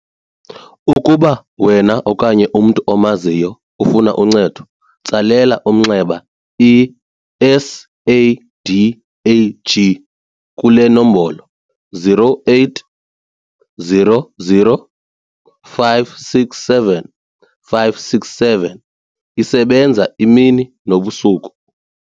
Ukuba wena okanye umntu omaziyo ufuna uncedo, tsalela umnxeba i-SADAG kule nombolo-0800 567 567 esebenza imini nobusuku.